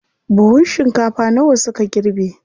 Buhun shinkafa nawa suka girbe?